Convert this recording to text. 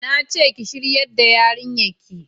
na ce ki shayar da yarinyar ki!